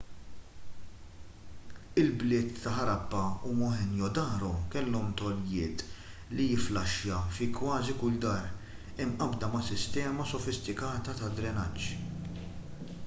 il-bliet ta' harappa u mohenjo-daro kellhom tojlit li jifflaxxja fi kważi kull dar imqabbda ma' sistema sofistikata ta' drenaġġ